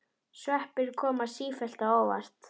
Sveppir koma sífellt á óvart!